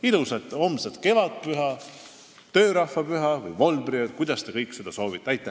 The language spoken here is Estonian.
Ilusat homset kevadpüha, töörahvapüha või volbriööd, kuidas keegi soovib!